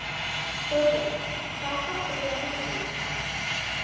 Þórveig, hvaða stoppistöð er næst mér?